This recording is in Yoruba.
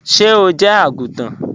Ṣé ó jẹ́ agúntàn?